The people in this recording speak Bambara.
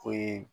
O ye